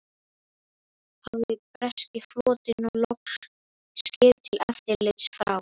Hafði breski flotinn nú loks skip til eftirlits frá